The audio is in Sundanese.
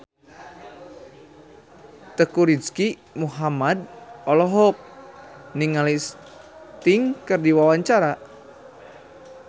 Teuku Rizky Muhammad olohok ningali Sting keur diwawancara